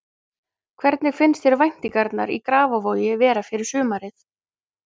Hvernig finnst þér væntingarnar í Grafarvogi vera fyrir sumarið?